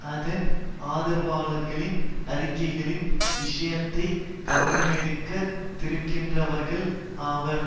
அதன் ஆதரவாளர்களின் அறிக்கைகளின் விஷயத்தைக் கவனமெடுக்கா திருக்கின்றவர்கள் ஆவர்